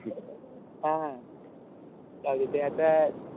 हा हा. चालेल ते आता,